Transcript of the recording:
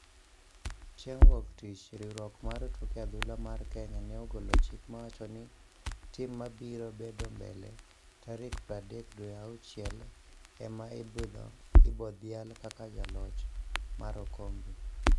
Chieng wuok tich riwruok mar tuke adhula mar Kenya ne ogolo chik mawachoni ni timmabiro bedombele tarikpradek dwe auchiel ema ibodhial kaka jaloch mar okombe